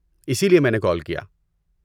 اسی لیے میں نے کال کیا۔